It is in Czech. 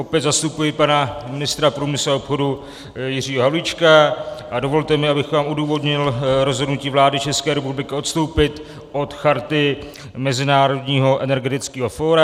Opět zastupuji pana ministra průmyslu a obchodu Jiřího Havlíčka a dovolte mi, abych vám odůvodnil rozhodnutí vlády České republiky odstoupit od Charty Mezinárodního energetického fóra.